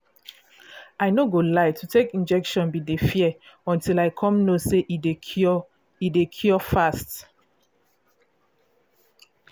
i no go lie to take injection been dey fear until i come know say e dey cure dey cure fast